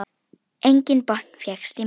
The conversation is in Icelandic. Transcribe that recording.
Enginn botn fékkst í málið.